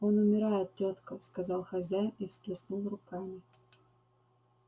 он умирает тётка сказал хозяин и всплеснул руками